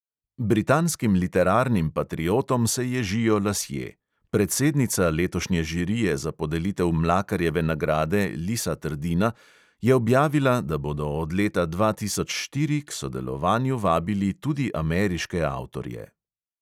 Britanskim literarnim patriotom se ježijo lasje: predsednica letošnje žirije za podelitev mlakarjeve nagrade lisa trdina je objavila, da bodo od leta dva tisoč štiri k sodelovanju vabili tudi ameriške avtorje.